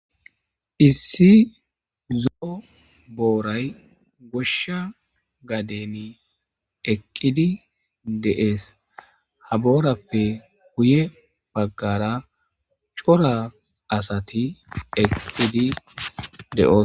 issi zo'o booray goshsha gadeni eqqidi de'ees haboorappe guye baggara cora asati eqqidi de'oosona